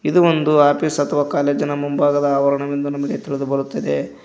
ಇದು ಒಂದು ಆಫೀಸ್ ಅಥವಾ ಕಾಲೇಜಿ ನ ಮುಂಭಾಗದ ಆವರಣ ಎಂದು ನಮಗೆ ತಿಳಿದು ಬರುತ್ತದೆ.